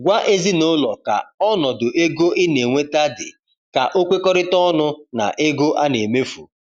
Gwa ezinụlọ ka ọnọdụ ego ina enweta di ka o kwekọrịta ọnụ na ego ana emefu